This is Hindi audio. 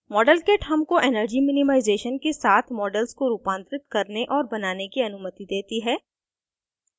modelkit हमको energy minimization के साथ models को रूपांतरित करने और बनाने की अनुमति देती है